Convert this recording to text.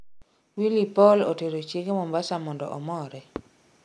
Willy Paul otero Chiege Mombasa mondo omore